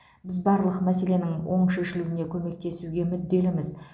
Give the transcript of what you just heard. біз барлық мәселенің оң шешілуіне көмектесуге мүдделіміз